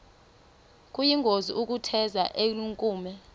kuyingozi ukutheza elinenkume